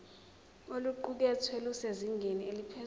oluqukethwe lusezingeni eliphezulu